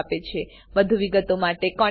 વધુ વિગતો માટે કૃપા કરી contactspoken tutorialorg પર લખો